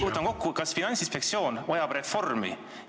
Võtan kokku: kas Finantsinspektsioon vajab reformi?